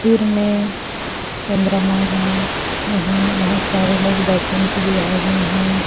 सिर में चंद्रमा है यहाँ बहोत बहु सारे लोग दर्शन के लिए आए हुए है।